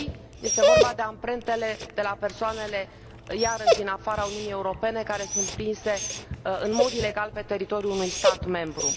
3. este vorba de amprentele de la persoanele iarăși din afara Uniunii Europene, care sunt prinse în mod ilegal pe teritoriul unui stat membru.